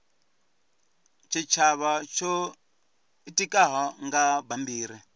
tshitshavha tsho itikaho nga bammbiri